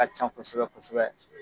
Ka ca kosɛbɛ kosɛbɛ.